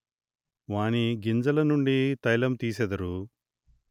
వాణి గింజల నుండి తైలము దీసెదరు